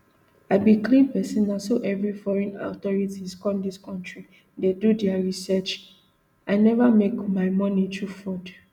i be clean pesin na so every foreign authorities come dis kontri dey do dia research i neva make my moni thru fraud